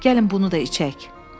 gəlin bunu da içək.